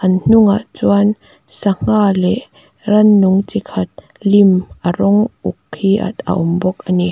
an hnungah chuan sangha leh rannung chi khat lim a rawng uk hi a awm bawk a ni.